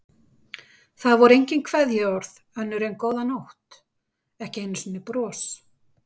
Það voru engin kveðjuorð önnur en góða nótt, ekki einu sinni bros.